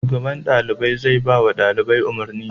Shugaban ɗalibai zai iya bawa ɗalibai umarni.